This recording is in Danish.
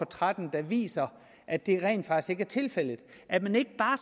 tretten der viser at det rent faktisk ikke er tilfældet og at man ikke bare